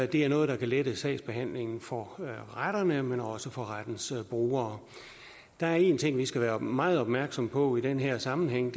det er noget der kan lette sagsbehandlingen for retterne men også for rettens brugere der er en ting vi skal være meget opmærksomme på i den her sammenhæng